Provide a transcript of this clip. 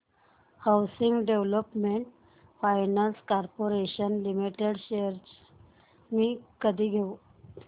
housing Development Finance Corporation Limited shares मी कधी घेऊ